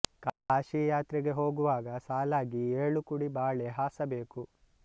ಕಾಶಿ ಯಾತ್ರೆಗೆ ಹೋಗುವಾಗ ಸಾಲಾಗಿ ಏಳು ಕುಡಿ ಬಾಳೆ ಹಾಸಬೇಕು